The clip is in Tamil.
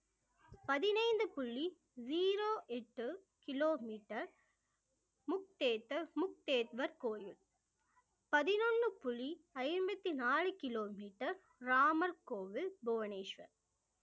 பதினைந்து புள்ளி zero எட்டு கிலோமீட்டர் கோயில் பதினொன்னு புள்ளி ஐம்பத்தி நாலு கிலோமீட்டர் ராமர் கோவில் புவனேஷ்வர்